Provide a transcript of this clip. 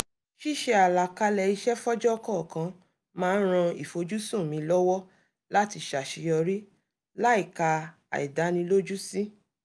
ṣíṣe àlàkalẹ̀ iṣẹ́ fọ́jọ́ kọ̀ọ̀kan máa ń ran ìfojúsùn mi lọ́wọ́ láti ṣàṣeyọrí láìka àìdánilójú sí